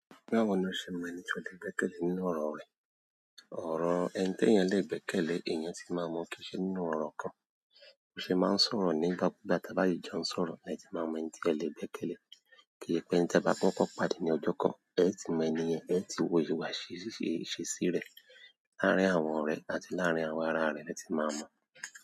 Nígbà wo ni o ṣe mọ ènìyàn tí o lè gbẹ́kẹ̀lé nínú ọ̀rọ̀ rẹ? Ọ̀rọ̀ ẹni tí ènìyàn lè gbẹ́kẹ̀lé ènìyàn tí màá mọ kìí ṣe nínú ọ̀rọ̀ kan, o ṣe máa ń sọ̀rọ̀ ní gba gbá ta bá yí jọ ń sọ̀rọ̀ ni ẹ ti máa mọ ènìyàn tí ẹ lè gbẹ́kẹ̀lé. Kí ì pé tí ẹ bá pọ́npọ́n pàdé ní ọjọ́ kan ẹ ti mọ ènìyàn ẹ, ẹ ti wo ìwà ṣíṣe rẹ̀ láàárín àwọn ọ̀rẹ́ àti láàárín àwọn ará rẹ̀ ẹ ti máa mọ.